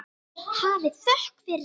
Hafið þökk fyrir allt.